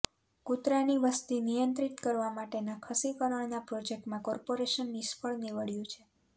કુતરાંની વસતી નિયંત્રિત કરવા માટેના ખસીકરણના પ્રોજક્ટમાં કોર્પોરેશન નિષ્ફળ નીવડયું છે